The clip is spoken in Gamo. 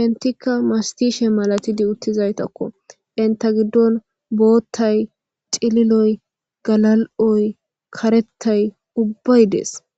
intikka mastishe malatidi uttizaytakko inta giddon boottay cililoy galal'oy karettay ubbay dees